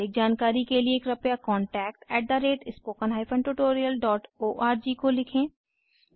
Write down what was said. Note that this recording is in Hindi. अधिक जानकारी के लिए कृपया contactspoken tutorialorg को लिखें